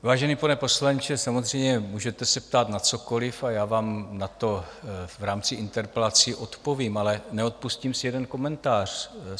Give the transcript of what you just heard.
Vážený pane poslanče, samozřejmě můžete se ptát na cokoliv a já vám na to v rámci interpelací odpovím, ale neodpustím si jeden komentář.